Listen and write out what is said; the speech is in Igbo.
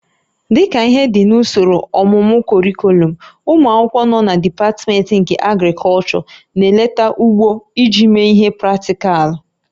Dịka ihe dị n'usoro ọmụmụ kọrịkọlọm, ụmụ akwụkwọ nọ na dipatmentị nke Agrịkọlchọ na-eleta ugbo iji mee ihe praktịkalụ